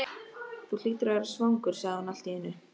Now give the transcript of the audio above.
Þú hlýtur að vera svangur, sagði hún allt í einu.